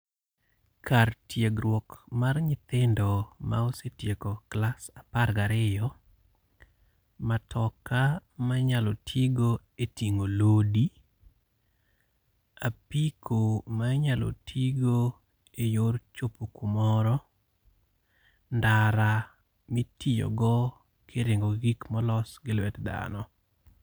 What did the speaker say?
Kar tiegruok mar nyithindo ma osetieko klas apar gi ariyo. Matoka ma inyalo ti go e ting'o lodi. Apiko ma inyalo ti go e yor chopo kumoro. Ndara mitiyogo kiringo gi gik molos gi lwet dhano.